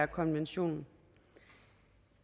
konventionen